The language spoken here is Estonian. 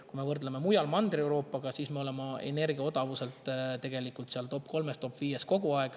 Kui me võrdleme ülejäänud Mandri-Euroopaga, siis me oleme energia odavuselt tegelikult kogu aeg topp kolmes või topp viies.